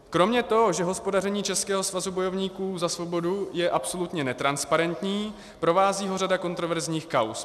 Kromě toho, že hospodaření Českého svazu bojovníků za svobodu je absolutně netransparentní, provází ho řada kontroverzních kauz.